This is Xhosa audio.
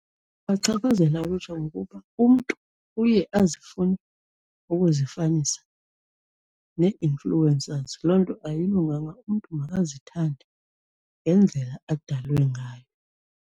Ibachaphazela ngokuba umntu uye azifune ukuzifanisa nee-influencers, loo nto ayilunganga. Umntu makazithande ngendlela adalwe ngayo.